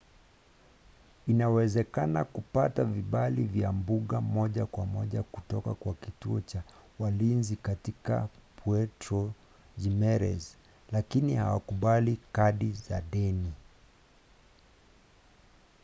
inawezekana kupata vibali vya mbuga moja kwa moja kutoka kwa kituo cha walinzi katika puerto jimerez lakini hawakubali kadi za deni